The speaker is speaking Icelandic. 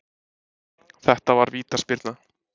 Þetta var vítaspyrna